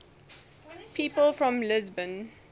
people from lisbon